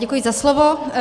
Děkuji za slovo.